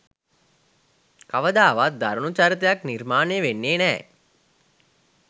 කවදාවත් දරුණු චරිතයක් නිර්මාණය වෙන්නෙ නෑ.